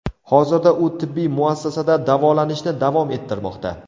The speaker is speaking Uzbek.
Hozirda u tibbiy muassasada davolanishni davom ettirmoqda.